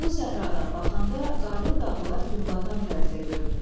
Qumlu səhradan baxanda qarlı dağlar günbatan tərəfdə görünür.